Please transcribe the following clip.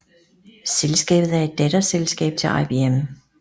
Selskabet er et datterselskab til IBM